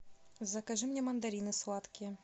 закажи мне мандарины сладкие